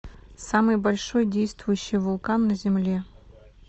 самый большой действующий вулкан на земле